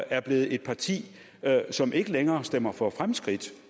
er blevet et parti som ikke længere stemmer for fremskridt